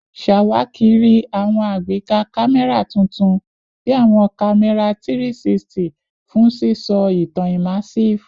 Ṣawakiri awọn agbeka kamẹra tuntun bi awọn kamẹra 360 fun sisọ itan immersive